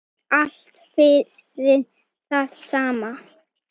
Allt fyrir það sama.